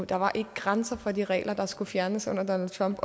der var ikke grænser for de regler der skulle fjernes under donald trump